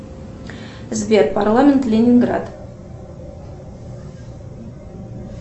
сбер парламент ленинград